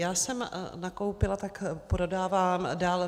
Jak jsem nakoupila, tak prodávám dál.